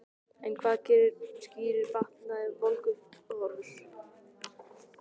En hvað skýrir batnandi verðbólguhorfur?